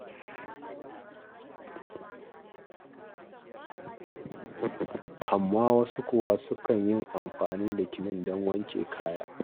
Amma wasu kuwa, sukan yi amfani da kilin don wanke kaya.